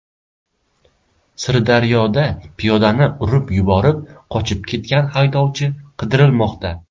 Sirdaryoda piyodani urib yuborib, qochib ketgan haydovchi qidirilmoqda.